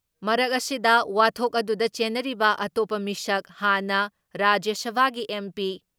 ꯃꯔꯛ ꯑꯁꯤꯗ, ꯋꯥꯊꯣꯛ ꯑꯗꯨꯗ ꯆꯦꯟꯅꯔꯤꯕ ꯑꯇꯣꯞꯄ ꯃꯤꯁꯛ ꯍꯥꯟꯅ ꯔꯥꯖ꯭ꯌ ꯁꯚꯥꯒꯤ ꯑꯦꯝ.ꯄꯤ